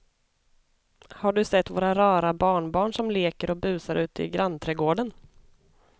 Har du sett våra rara barnbarn som leker och busar ute i grannträdgården!